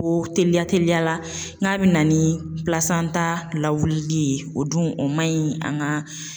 Ko teliya teliya la n k'a bɛ na ni lawuli ye o dun o man ɲi an ka.